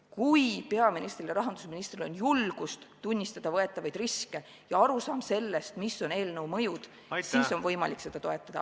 Kui peaministril ja rahandusministril on julgust tunnistada võetavaid riske ja arusaam sellest, mis on eelnõu mõjud, siis on võimalik seda toetada.